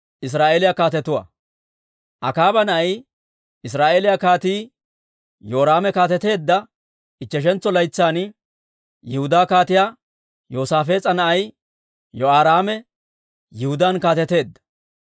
Akaaba na'ay, Israa'eeliyaa Kaatii Yoraame kaateteedda ichcheshantso laytsan, Yihudaa Kaatiyaa Yoosaafees'a na'ay Yehoraame Yihudaan kaateteedda.